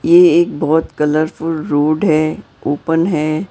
ये एक बहुत कलरफुल रोड है ओपन है।